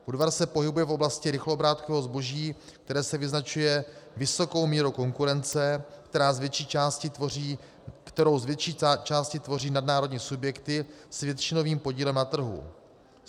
Budvar se pohybuje v oblasti rychloobrátkového zboží, které se vyznačuje vysokou mírou konkurence, kterou z větší části tvoří nadnárodní subjekty s většinovým podílem na trhu.